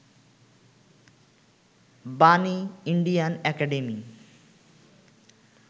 Bani, Indian academy